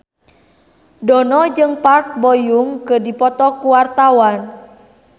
Dono jeung Park Bo Yung keur dipoto ku wartawan